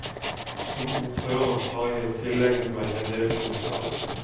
Som ordfører har jeg jo tilegnet meg en del kunnskap.